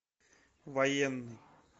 военный